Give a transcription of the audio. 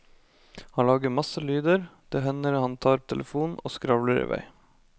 Han lager masse lyder, det hender han tar telefonen og skravler i vei.